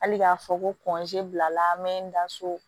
Hali k'a fɔ ko bila la n mɛ n da so